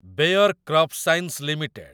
Beyer crop science limited